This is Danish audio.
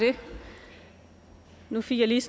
det nu fik jeg lige